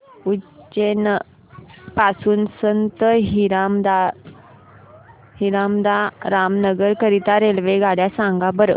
उज्जैन पासून संत हिरदाराम नगर करीता रेल्वेगाड्या सांगा बरं